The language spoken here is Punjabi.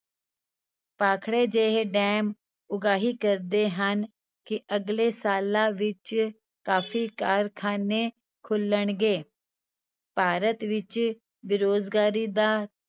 ਭਾਖੜੇ ਜਿਹੇ ਡੈਮ ਉਗਾਹੀ ਕਰਦੇ ਹਨ ਕਿ ਅਗਲੇ ਸਾਲਾਂ ਵਿੱਚ ਕਾਫ਼ੀ ਕਾਰਖਾਨੇ ਖੁਲਣਗੇ, ਭਾਰਤ ਵਿੱਚ ਬੇਰੁਜ਼ਗਾਰੀ ਦਾ